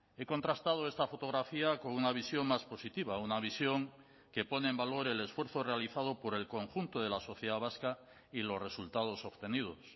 he contrastado esta fotografía con una visión más positiva una visión que pone en valor el esfuerzo realizado por el conjunto de la sociedad vasca y los resultados obtenidos